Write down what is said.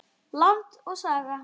Land og Saga.